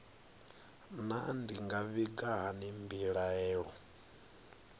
naa ndi nga vhiga hani mbilaelo